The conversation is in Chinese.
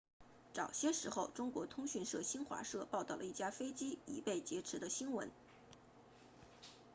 早些时候中国通讯社新华社报道了一架飞机已被劫持的新闻